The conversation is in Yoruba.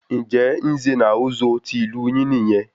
Njẹ Nze na Ozo tí ìlú yín nìyẹn?